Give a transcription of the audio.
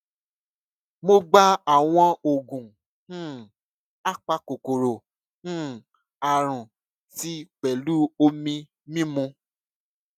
mo gba àwọn oògùn um apakòkòrò um àrùn tí pẹlú omi mimu